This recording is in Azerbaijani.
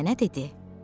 Nənə dedi: